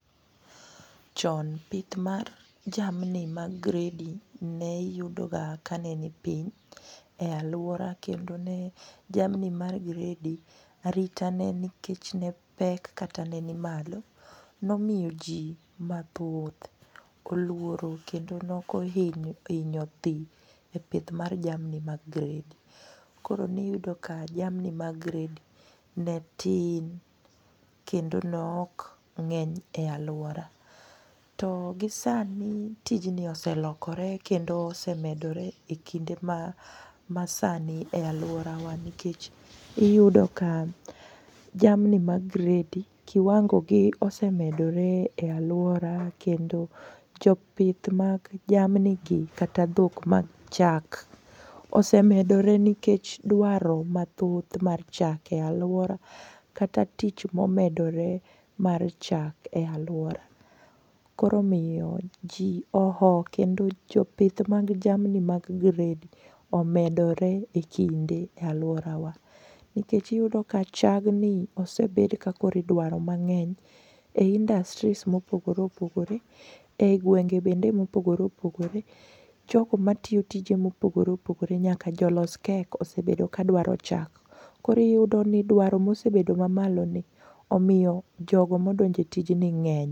Chon pith mar jamni mag gredi ne yudoga kanenipiny e alwora kendo ne jamni mar gredi aritane nikech ne pek kata ne ni malo, nomiyo ji mathoth oluoro kendo nokohinyo dhi e pith mar jamni mag gredi koro niyudo ka jamni mag gredio ne tin kendo nokng'eny e alwora. To gisani tijni oselokore kendo osemedore e kinde masani e alworawa nikech iyudo ka jamni mag gredi kiwangogi osemedore e alwora kendo jopith mag jamnigi kata dhok mag chak osemedore nikech dwaro mathoth mar chak e alwora kata tich momedore mar chak e alwora, koro omiyo ji oho kendo jopith mag jamni mag gredi omedore e kinde alworawa nikech iyudo ka chagni osebed ka idwaro mang'eny e industries mopogore opogore e i gwenge bende mopogore opoghore jogo matiyo tije mopogore opogore nyaka jolos kek osebedo kadwaro chak, koro iyudo ni dwaro mosebedo mamaloni omiyo jogo modonjo e tijni ng'eny.